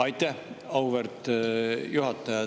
Aitäh, auväärt juhataja!